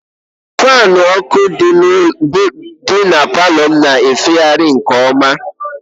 Faanụ uko dị na palọ m na-efegharị nke ọma